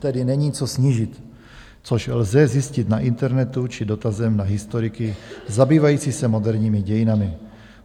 Tedy není co snížit, což lze zjistit na internetu či dotazem na historiky zabývajícími se moderními dějinami.